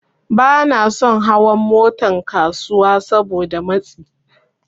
Banason hawan Motan kasuwa Saboda matsi